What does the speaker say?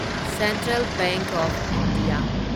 central bank of India